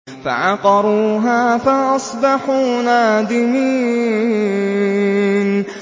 فَعَقَرُوهَا فَأَصْبَحُوا نَادِمِينَ